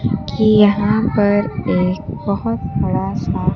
कि यहां पर एक बहोत बड़ा सा--